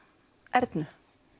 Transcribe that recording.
Ernu